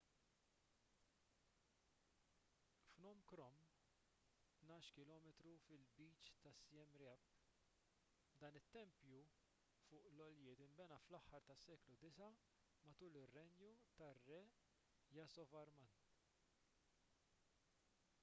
phnom krom 12 km fil-lbiċ ta' siem reap dan it-tempju fuq l-għoljiet inbena fl-aħħar tas-seklu 9 matul ir-renju tar-re yasovarman